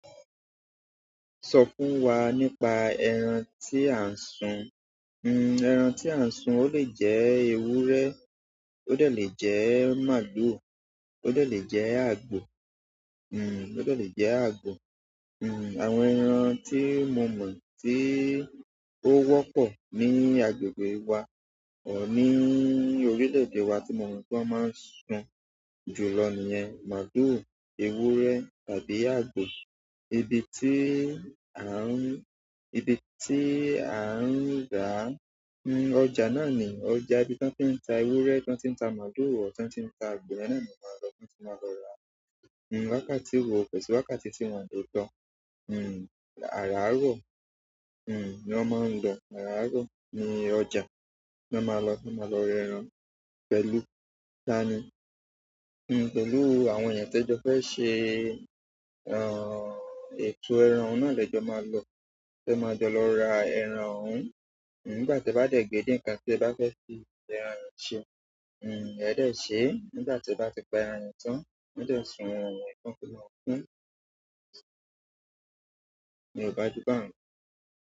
Sọ fún wa nípa ẹran tí a ń sun. Hmm, ẹran tí a ń sun, ó lè jẹ́ ewúrẹ́, ó de lè jẹ́ máalu, ó de lè jẹ́ àgbò, hmm, ó de lè jẹ́ àgbọ̀. Hmm, àwọn ẹran tí mo mọ̀ tí ó wọ́pọ̀ ní agbègbè wa or ní orílẹ̀-èdè wa tí mo mọ̀ pé wọ́n máa ń sun jùlọ nìyẹn málù, ewúrẹ́ tàbí àgbò. Ibi tí a ń, ibi tí a ń rà á, hmm, ọjà nàá ni. Ọjà ibi tí wọ́n ti ń ta ewúrẹ́, tí wọ́n ti ń ta màlúù, or tí wọ́n ti ń ta àgbò yen náà ni o máa lọ, ní o ti máa lọ rà á. Hmm wákàtí wo? Ko si wákàtí tii won le lo hmm ara aro hmm ni won ma n lo. Àra aro ní ọjà lo máa lọ, lo máa lọ rẹ́ran pẹ̀lú tani? Hmm, pẹ̀lú àwọn èyàn tí ẹ jọ fẹ́ ṣe, ehn, ètò ẹran hun náà lẹ jọ máa lọ. Tí ẹ máa jọ lọ ra ẹran hun. Hmm, nígbà te bá dẹ̀ gídín kan tí ẹ bá fẹ́ fi ẹran ye jiun hmm, ẹ dẹ̀ ṣẹ́. Nígbà tí ẹ bá ti pa ẹran yẹn tán, won dẹ̀ sun ẹran yẹn tán fí ma kún un iyẹn ọba jù bá hun.